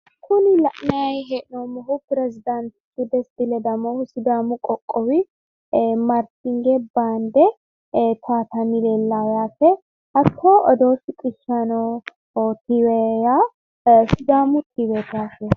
Kuni la'nanni hee'noommohu perezidaantichi Desti ledamohu sidaamu qoqqowi marshinge baande towatanni leellayo yaate hattono odoo shiqishshayi noo tv yaa sidaamu tiveeti yaate.